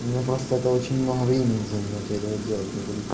мне просто это очень много времени займёт я этого делать не буду